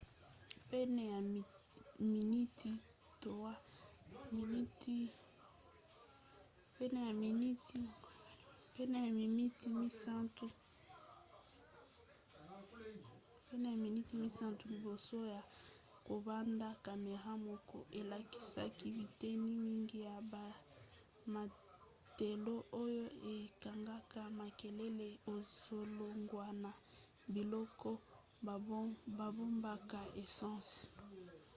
pene ya miniti 3 liboso ya kobanda camera moko elakisaki biteni mingi ya bamatela oyo ekangaka makelele ezolongwa na biloko babombaka essence